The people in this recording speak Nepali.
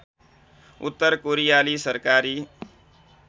उत्तर कोरियाली सरकारी